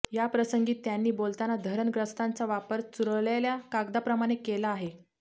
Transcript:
याप्रसंगी त्यांनी बोलताना धरणग्रस्तांचा वापर चुरळलेल्या कागदाप्रमाणे केला आहे